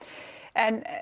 en